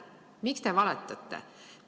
Miks te valetate?